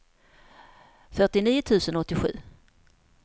fyrtionio tusen åttiosju